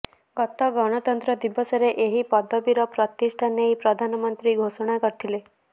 ଗତ ଗଣତନ୍ତ୍ର ଦିବସରେ ଏହି ପଦିବୀର ପ୍ରତିଷ୍ଠା ନେଇ ପ୍ରଧାନମୃନ୍ତ୍ରୀ ଘୋଷଣା କରିଥିଲେ